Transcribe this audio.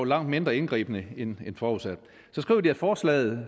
langt mere indgribende end forudsat så skriver de at forslaget